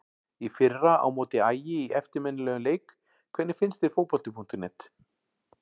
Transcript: Í fyrra á móti Ægi í eftirminnilegum leik Hvernig finnst þér Fótbolti.net?